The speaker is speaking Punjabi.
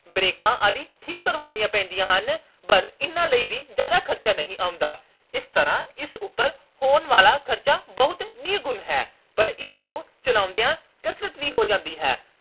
ਬ੍ਰੇਕਾਂ ਆਦਿ ਠੀਕ ਕਰਾਉਣੀਆਂ ਪੈਂਦੀਆਂ ਹਨ ਪਰ ਇਹਨਾਂ ਲਈ ਵੀ ਜਿਆਦਾ ਖਰਚਾ ਨਹੀਂ ਆਉਂਦਾ। ਇਸ ਤਰ੍ਹਾਂ ਇਸ ਉਪਰ ਹੋਣ ਵਾਲਾ ਖਰਚਾ ਬਹੁਤ ਨਿਗੁਣ ਹੈ ਪਰ ਇਸ ਨੂੰ ਚਲਾਉਂਦੀਆਂ ਕਸਰਤ ਵੀ ਹੋ ਜਾਂਦੀ ਹੈ।